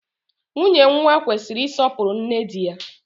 Nwunye nwa kwesịrị isọpuru nne dị ya